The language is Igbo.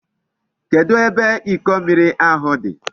Kedu ebe Iko mmiri ahu di?